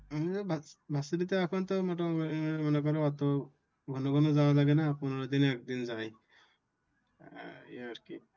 ঘন ঘন যাওয়া লাগে না পনেরো দিনে একদিন যাই এই আর কি।